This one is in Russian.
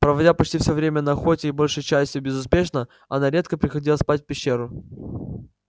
проводя почти всё время на охоте и большей частью безуспешно она редко приходила спать в пещеру